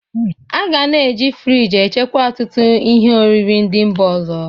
A ga na-e ji friji echekwa ọtụtụ ihe oriri ndị Mba ọzọ.